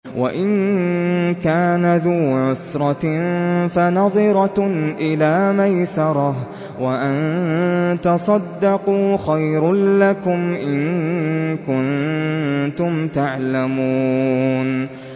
وَإِن كَانَ ذُو عُسْرَةٍ فَنَظِرَةٌ إِلَىٰ مَيْسَرَةٍ ۚ وَأَن تَصَدَّقُوا خَيْرٌ لَّكُمْ ۖ إِن كُنتُمْ تَعْلَمُونَ